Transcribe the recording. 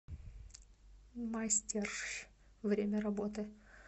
мастеръ время работы